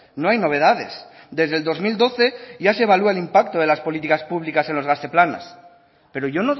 no hay novedades desde el dos mil doce ya se evalúa el impacto de las políticas públicas en los gazte planas pero yo